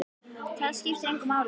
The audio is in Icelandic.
Það skiptir engu máli!